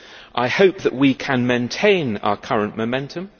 I hope that we can maintain our current momentum.